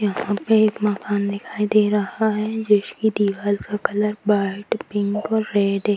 यहाँ पे एक मकान दिखाई दे रहा है जिसकी दीवाल का कलर व्हाइट पिंक और रेड --